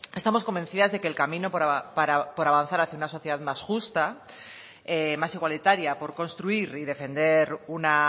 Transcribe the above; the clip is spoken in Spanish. estamos convencidas de que el camino por avanzar hacia una sociedad más justa más igualitaria por construir y defender una